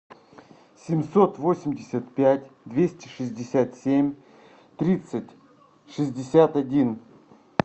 семьсот восемьдесят пять двести шестьдесят семь тридцать шестьдесят один